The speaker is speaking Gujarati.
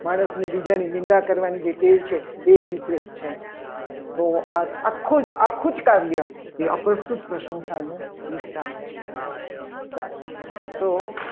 માણસની બીજાની નિંદા કરવાની જે ટેવ છે. એ અભિપ્રયોત છે. તો આ આખું જ આખું જ કાર્ય એ અપ્રસ્તુત પ્રશંસાનું છે. સારું તો